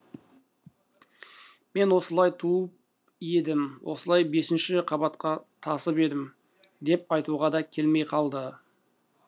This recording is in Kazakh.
мен осылай тауып едім осылай бесінші қабатқа тасып едім деп айтуға да келмей қалады